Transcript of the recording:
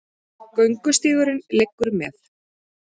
Göngustígurinn liggur með